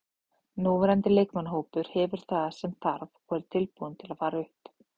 Núverandi leikmannahópur hefur það sem þarf og er tilbúinn til að fara upp.